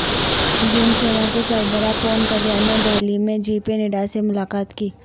جن سینا کے سربراہ پون کلیان نے دہلی میں جے پی نڈا سے ملاقات کی